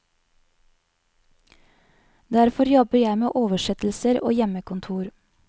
Derfor jobber jeg med oversettelser og hjemmekontor.